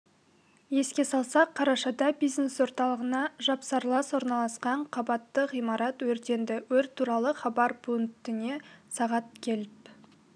еске салсақ қарашада бизнес орталығына жапсарлас орналасқан қабатты ғимарат өртенді өрт туралы хабар пультіне сағат келіп